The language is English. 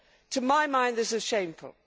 To my mind this is shameful.